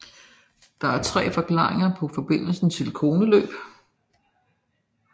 Der er tre forklaringer på forbindelsen til koneløb